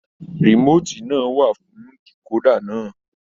Remotii náà wà fún dekoda náà.